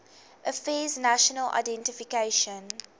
affairs national identification